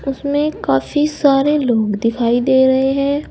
उसमें काफी सारे लोग दिखाई दे रहे हैं।